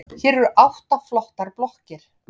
Hér eru átta flottar blokkir.